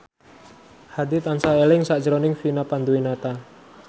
Hadi tansah eling sakjroning Vina Panduwinata